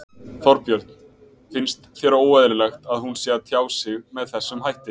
Þorbjörn: Finnst þér óeðlilegt að hún sé að tjá sig með þessum hætti?